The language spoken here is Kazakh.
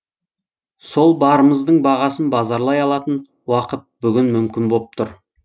сол барымыздың бағасын базарлай алатын уақыт бүгін мүмкін боп тұр